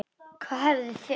Hvað hefði þurft?